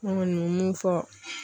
N kɔni bɛ mun fɔ.